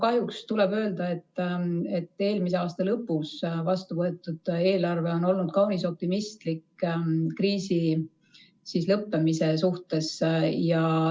Kahjuks tuleb öelda, et eelmise aasta lõpus vastu võetud eelarve on olnud kaunis optimistlik kriisi lõppemise suhtes.